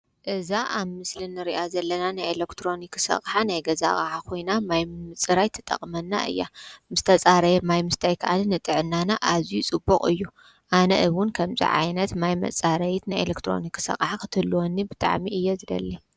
እዛ ኣብ ምስሊ ንርእያ ዘለና ናይ ኤሌክትሮኒክስ ኣቕሓ ናይ ገዛ ኮይና ማይ ምፅራይ ትጠቕመና እያ ምስ ተፃረየ ማይ ምስታይ ከኣኒ ንጥዕናና ኣዝዩ ፅቡቕ እዩ። ኣነ እውን ከምዚ ዓይነት ማይ መፃረዪት ናይ ኤሌክትሮኒክስ ኣቕሓ ክትህልወኒ ብጣዕሚ እየ ዝደሊ።